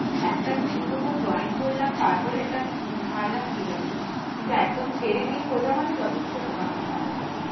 একটা নতুন কোথাও join করলাম তারপরে একটা উম ছাড়লাম ঠিক আছে, কিন্তু একদম ছেড়ে দিয়ে খোঁজা মানে যথেষ্ট বোকামির কাজ হবে ওটা।